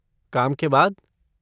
काम के बाद?